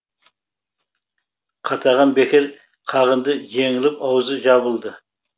қатаған бекер қағынды жеңіліп аузы жабылды